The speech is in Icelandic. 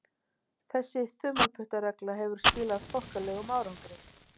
Þessi þumalputtaregla hefur skilað þokkalegum árangri.